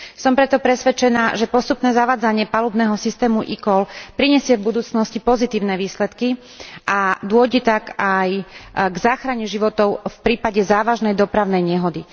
Som preto presvedčená, že postupné zavádzanie palubného systému eCall prinesie v budúcnosti pozitívne výsledky a dôjde tak aj k záchrane životov v prípade závažnej dopravnej nehody.